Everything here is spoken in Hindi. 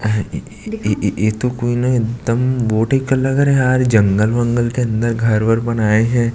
आह इ इ इ तो कोई न एकदम बोटे का लग रहा यार जंगल वंगल के अंदर घर वर बनाये हे।